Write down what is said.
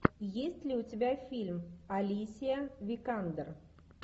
есть ли у тебя фильм алисия викандер